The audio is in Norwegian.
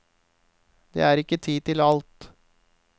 Det er ikke tid til alt.